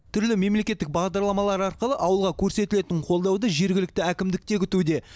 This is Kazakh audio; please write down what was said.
түрлі мемлекеттік бағдарламалар арқылы ауылға көрсетілетін қолдауды жергілікті әкімдік те күтуде